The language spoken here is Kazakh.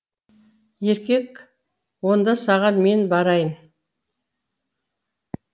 еркек онда саған мен барайын